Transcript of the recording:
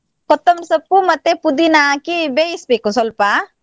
ಕೊತ್ತಂಬರಿ ಸೊಪ್ಪು ಮತ್ತೆ ಪುದಿನ ಹಾಕಿ ಬೇಯಿಸ್ಬೇಕು ಸ್ವಲ್ಪ.